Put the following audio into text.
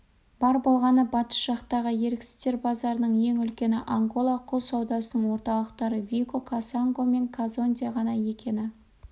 бар болғаны батыс жақтағы еріксіздер базарының ең үлкені ангола құл саудасының орталықтары вихо кассанго мен казонде ғана екені